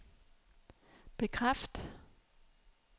bekræft